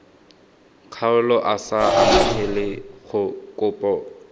kgaolo a sa amogele kopo